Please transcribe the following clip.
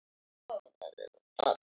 Frábær bókin þín um Klepp.